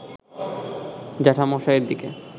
জ্যাঠামশায়ের দিকে